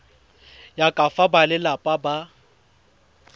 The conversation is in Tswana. ya ka fa balelapa ba